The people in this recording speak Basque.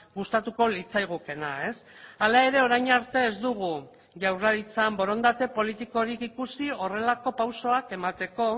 gustatuko litzaigukeena hala ere orain arte ez dugu jaurlaritzan borondate politikorik ikusi horrelako pausoak emateko